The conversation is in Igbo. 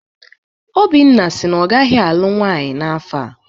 Obinna si na ọ gaghị alụ nwaanyị n'afọ a.